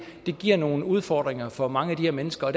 giver nogle udfordringer for mange af de her mennesker